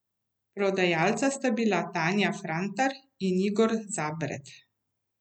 Prodajalca sta bila Tanja Frantar in Igor Zabret.